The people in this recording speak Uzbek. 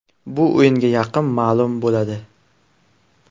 Bu o‘yinga yaqin ma’lum bo‘ladi.